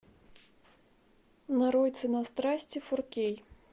нарой цена страсти фор кей